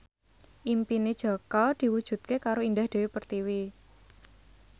impine Jaka diwujudke karo Indah Dewi Pertiwi